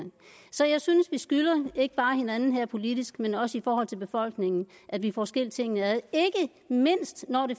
så jeg synes vi skylder ikke bare hinanden her politisk men også i forhold til befolkningen at vi får skilt tingene ad ikke mindst når det